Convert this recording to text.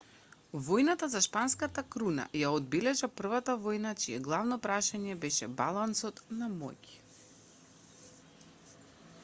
војната за шпанската круна ја одбележа првата војна чие главно прашање беше балансот на моќ